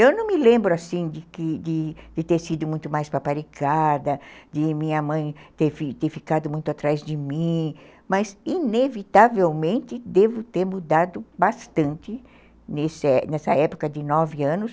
Eu não me lembro assim de ter sido muito mais paparicada, de minha mãe ter ficado muito atrás de mim, mas, inevitavelmente, devo ter mudado bastante nesse nessa época de nove anos.